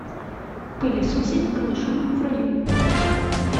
пылесосить голышом в раю